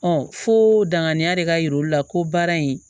fo danganiya de ka yira olu la ko baara in